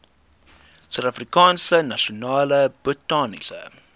suidafrikaanse nasionale botaniese